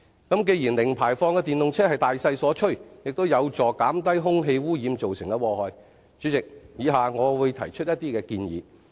主席，既然零排放的電動車是大勢所趨，亦有助減低空氣污染造成的禍害，以下我會提出一些普及化的建議。